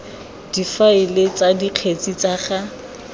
difaele tsa dikgetse tsa ga